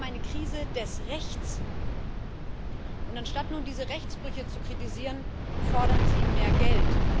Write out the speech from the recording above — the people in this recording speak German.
Wir haben eine Krise des Rechts. Und anstatt nun diese Rechtsbrüche zu kritisieren, fordern Sie mehr Geld.